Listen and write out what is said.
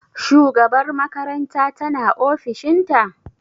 Shugabar makaranta ta na ofishin ta?